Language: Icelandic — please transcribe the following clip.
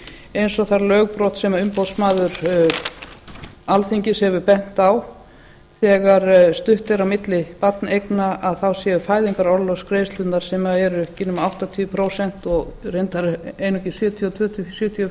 eins og það lögbrot sem umboðsmaður alþingi hefur bent á þegar stutt er á milli barneigna þá séu fæðingarorlofsgreiðslur sem eru ekki nema áttatíu prósent og reyndar einungis sjötíu og tvö til sjötíu og